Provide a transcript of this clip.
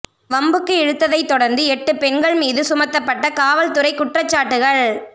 வம்புக்கு இழுத்ததை தொடர்ந்து எட்டு பெண்கள் மீது சுமத்தப்பட்ட காவல்துறை குற்றச்சாட்டுகள்